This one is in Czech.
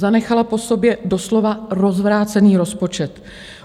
Zanechala po sobě doslova rozvrácený rozpočet.